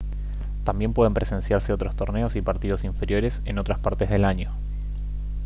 también pueden presenciarse otros torneos y partidos inferiores en otras partes del año